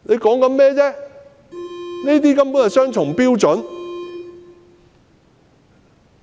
根本是雙重標準。